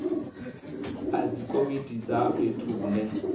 a dzikomiti dza fhethu hune